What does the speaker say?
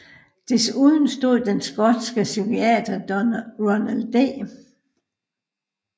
Desuden stod den skotske psykiater Ronald D